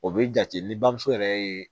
O be jate ni bamuso yɛrɛ ye